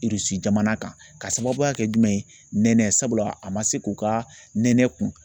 jamana kan ka sababuya kɛ jumɛn ye nɛnɛ sabula a ma se k'u ka nɛnɛ kun.